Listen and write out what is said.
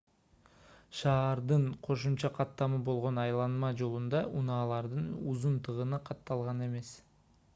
шаардын кошумча каттамы болгон айланма жолунда унаалардын узун тыгыны катталган эмес